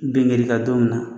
Ben kɛr'i kan don min na